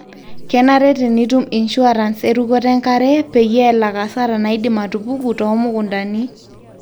kenare tenitum insurance e rukoto enkare peyie elak hasara naidim atupuku too mukuntani